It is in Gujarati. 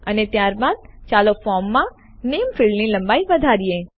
અને ત્યારબાદ ચાલો ફોર્મમાં નેમ નામ ફીલ્ડની લંબાઈ વધારીએ